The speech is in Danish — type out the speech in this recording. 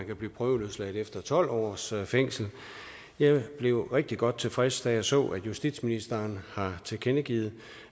kan blive prøveløsladt efter tolv års fængsel jeg blev rigtig godt tilfreds da jeg så at justitsministeren har tilkendegivet